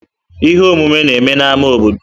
Ihe omume na-eme n'ámá obodo.